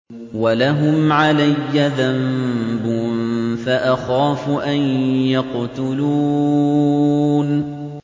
وَلَهُمْ عَلَيَّ ذَنبٌ فَأَخَافُ أَن يَقْتُلُونِ